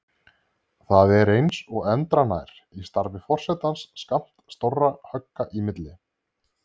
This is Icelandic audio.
Það er eins og endranær í starfi forsetans skammt stórra högga í milli.